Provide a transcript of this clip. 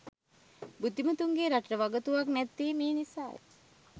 බුද්ධිමතුන්ගෙන් රටට වගතුවක් නැත්තේ මේ නිසා ය